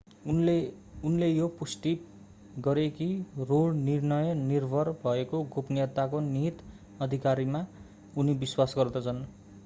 उनले यो पनि पुष्टि गरे कि रो निर्णय निर्भर भएको गोपनीयताको निहित अधिकारमा उनी विश्वास गर्दछन्